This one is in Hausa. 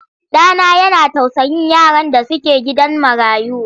Ɗa na yana tausayin yaran da suke gidan marayu.